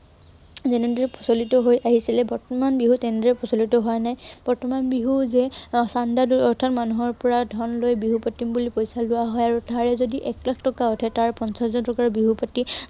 যেনেদৰে প্ৰচলিত হৈ আহিছিলে, বৰ্তমান বিহু তেনেদৰে প্ৰচলিত হোৱা নাই। বৰ্তমান বিহু যেন ধন দাবী অৰ্থাৎ মানুহৰ পৰা ধন লৈ বিহু পাতিম বুলি পইচা লোৱা হয় আৰু তাৰে যদি এক লাখ টকা উঠে, তাৰে পঞ্চাশ হাজাৰ টকাৰ বিহু পাতি